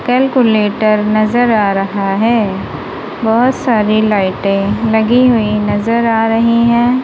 Calculator नजर आ रहा है बहोत सारी लाइटें लगी हुई नजर आ रही हैं।